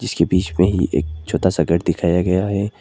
इसके बीच में ही एक छोटा सा घर दिखाया गया है।